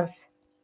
аз